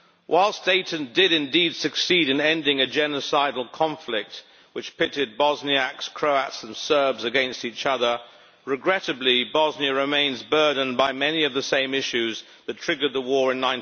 Whilst Dayton did indeed succeed in ending a genocidal conflict which pitted Bosniaks, Croats and Serbs against each other, regrettably Bosnia remains burdened by many of the same issues that triggered the war in